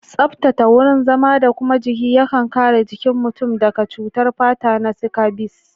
Tsaftata wurin zama da kuma jiki yakan kare jikin mutum daka cutar fata na sikabis